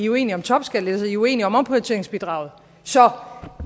uenige om topskattelettelser i er uenige om omprioriteringsbidraget så